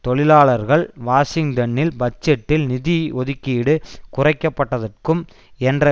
தொழிலாளர்கள் வாஷிங்டனில் பட்ஜெட்டில் நிதி ஒதுக்கீடு குறைக்கப்பட்டதற்கும் என்ற